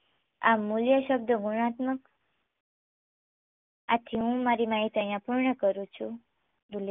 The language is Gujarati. આ મૂલ્ય શબ્દ ગુણાત્મક આથી હું મારી માહિતી અહીંયા પૂર્ણ કરું છું.